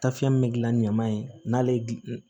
Tafiyɛn min bɛ gilan ni ɲaman ye n'ale gilan